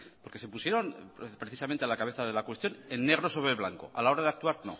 porque se pusieron precisamente a la cabeza de la cuestión en negro sobre blanco a la hora de actuar